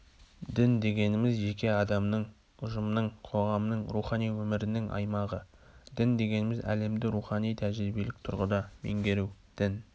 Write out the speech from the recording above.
дін дегеніміз жеке адамның ұжымның қоғамның рухани өмірінің аймағы дін дегеніміз әлемді рухани-тәжірибелік тұрғыда меңгеру дін